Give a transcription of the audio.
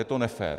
Je to nefér.